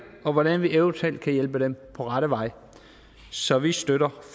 og hvordan vi eventuelt kan hjælpe dem på rette vej så vi støtter